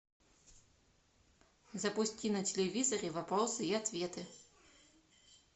запусти на телевизоре вопросы и ответы